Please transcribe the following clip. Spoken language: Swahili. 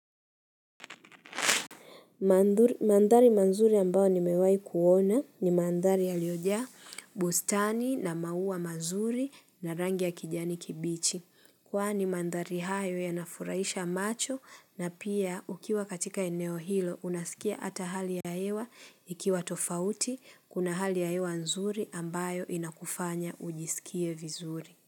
Mandhari mazuri ambao ni mewahi kuona ni mandhari yaliojaa bustani na maua mazuri na rangi ya kijani kibichi. Kwani mandhari hayo ya nafuraisha macho na pia ukiwa katika eneo hilo unasikia ata hali yaewa ikiwa tofauti kuna hali ya hewa nzuri ambayo inakufanya ujisikie vizuri.